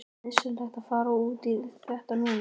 Er nauðsynlegt að fara út í þetta núna?